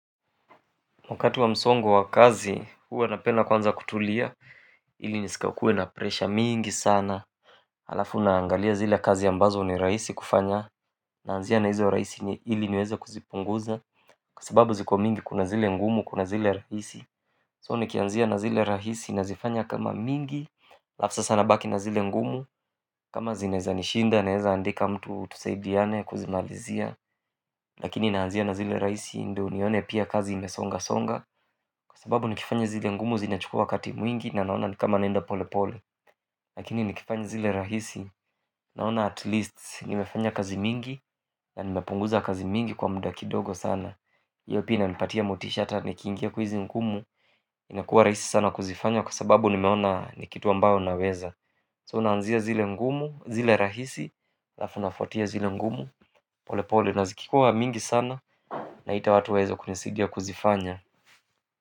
Wakati wa msongo wa kazi, huwa napenda kwanza kutulia, ili nisikakue na presha mingi sana halafu naangalia zile kazi ambazo ni rahisi kufanya, naanzia na hizo rahisi ili niweze kuzipunguza kwa sababu ziko mingi kuna zile ngumu, kuna zile rahisi. So nikianzia na zile rahisi nazifanya kama mingi, alafu sasa nabaki na zile ngumu kama zinaeza nishinda, naeza andika mtu tusaidiane kuzimalizia lakini naanzia na zile rahisi ndio nione pia kazi imesonga songa kwa sababu nikifanya zile ngumu zinachukua wakati mwingi na naona ni kama naenda pole pole lakini nikifanya zile rahisi naona at least nimefanya kazi mingi na nimepunguza kazi mingi kwa muda kidogo sana hiyo pia inanipatia motisha hata nikiingia kwa hizi ngumu inakua rahisi sana kuzifanya kwa sababu nimeona ni kitu ambayo naweza. So naanzia zile ngumu zile rahisi alafu nafuatia zile ngumu pole pole na zikikuwa mingi sana naita watu waeze kunisaidia kuzifanya.